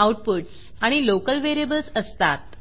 outputs आणि local variables असतात